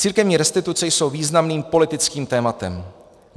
Církevní restituce jsou významným politickým tématem.